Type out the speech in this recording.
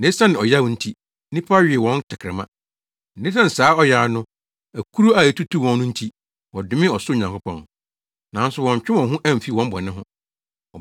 na esiane saa ɔyaw no ne akuru a etutuu wɔn no nti, wɔdomee ɔsoro Nyankopɔn. Nanso wɔantwe wɔn ho amfi wɔn bɔne ho.